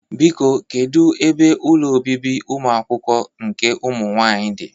Biko, kedu ebe ụlọ obibi ụmụakwụkwọ nke ụmụnwaanyị dị?